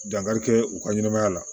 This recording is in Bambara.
Dankarikɛ u ka ɲɛnɛmaya la